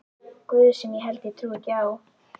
guð sem ég held ég trúi ekki á.